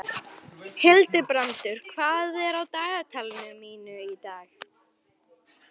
Hildibrandur, hvað er á dagatalinu mínu í dag?